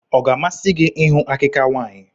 Ọ ga-amasị gị ịhụ àkikà nwaanyị?